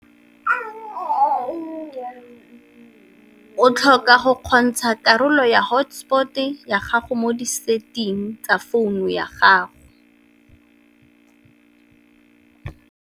O tlhoka go kgontsha karolo ya hotspot-e ya gago mo di-setting tsa founu ya gago.